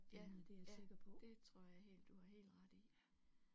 Ja ja det tror jeg helt du har helt ret i